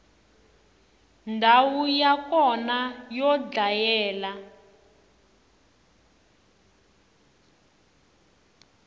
ndhawu ya kona yo dlayela